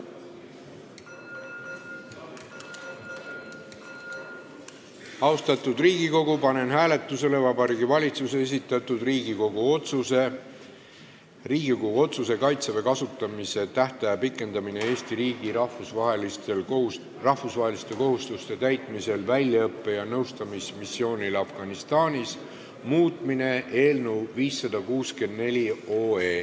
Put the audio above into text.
Austatud Riigikogu, panen hääletusele Vabariigi Valitsuse esitatud Riigikogu otsuse "Riigikogu otsuse "Kaitseväe kasutamise tähtaja pikendamine Eesti riigi rahvusvaheliste kohustuste täitmisel väljaõppe- ja nõustamismissioonil Afganistanis" muutmine" eelnõu 564.